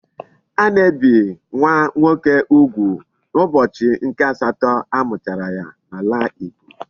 A na-ebi nwa nwoke ugwu n'ubochi nke asato a muchara ya n'ala igbo